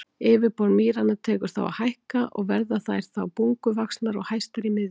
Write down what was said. Yfirborð mýranna tekur þá að hækka og verða þær þá bunguvaxnar og hæstar í miðju.